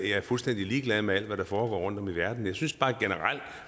jeg er fuldstændig ligeglad med alt hvad der foregår rundtom i verden jeg synes bare at